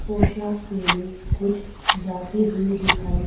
पोशाक पहने कुछ जाती हुई दिखाई--